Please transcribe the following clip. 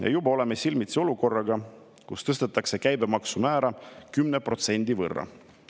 Ja juba oleme silmitsi olukorraga, kus tõstetakse käibemaksumäära 10% võrra.